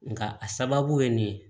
Nga a sababu ye nin ye